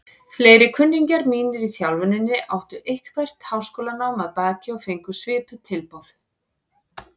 Fleiri kunningjar mínir í þjálfuninni áttu eitthvert háskólanám að baki og fengu svipuð tilboð.